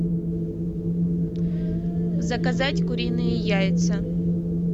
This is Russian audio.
заказать куриные яйца